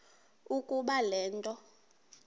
ukuba le nto